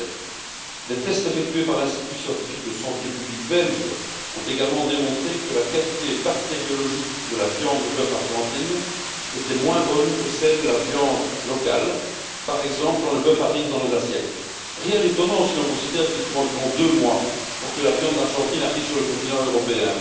2007. Des tests effectués par l'Institut scientifique belge de santé publique ont également démontré que la qualité bactériologique de la viande de bœuf argentine était moins bonne que celle de la viande locale, par exemple, quand le bœuf arrive dans nos assiettes. Rien d'étonnant, si l'on considère qu'il faut environ deux mois pour que la viande argentine arrive sur le continent européen.